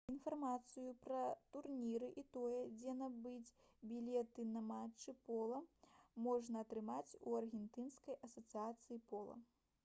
інфармацыю пра турніры і тое дзе набыць білеты на матчы пола можна атрымаць у аргенцінскай асацыяцыі пола